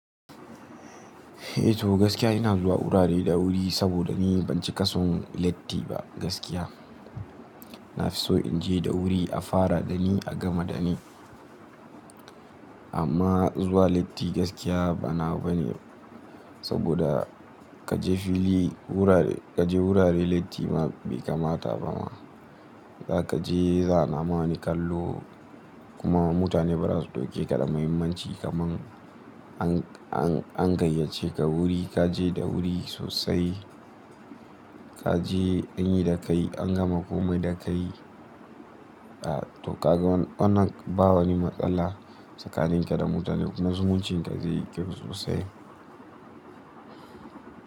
Eh to gaskiya ina zuwa wurare da wuri saboda ni ban cika son leti ba gaskiya. Nafiso in je da wuri a fara dani a gama dani. Amma zuwa leti gaskiya ba nawa bane saboda kaje fili wurare kaje wurare leti ma bai kamata ba ma. Zaka je za'ana ma wani ni kallo kuma mutane ba za su ɗauke ka da mahimmanci kaman an, an, an gayyace ka wuri kaje da wuri sosai. Kaje an yi da kai an gama komai da kai. A to kaga wanna, wannan ba wani matsala tsakanin ka da mutane kuma zumuncin ka zai yi kyau sosai.